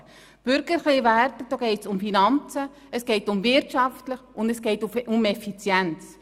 Bei den bürgerlichen Werten geht es um Finanzen, es geht um Wirtschaft, und es geht um Effizienz.